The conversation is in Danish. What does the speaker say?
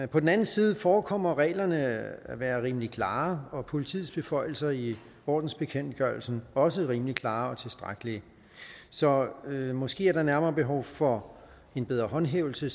på den anden side forekommer reglerne at være rimelig klare og politiets beføjelser i ordensbekendtgørelsen også rimelig klare og tilstrækkelige så måske er der nærmere behov for en bedre håndhævelse